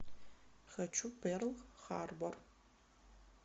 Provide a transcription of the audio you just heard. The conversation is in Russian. хочу перл харбор